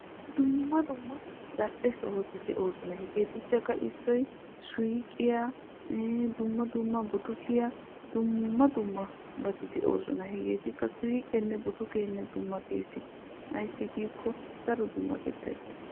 Dumma dumma zal'ee sohotti de'osonna hegeetuppe suyqqiya buttukkiya. Hegeeti qassi harattuppe dummattosonna.